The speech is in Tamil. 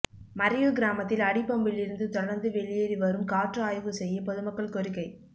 மறையூர் கிராமத்தில் அடி பம்பிலிருந்து தொடர்ந்து வெளியேறி வரும் காற்று ஆய்வு செய்ய பொதுமக்கள் கோரிக்கை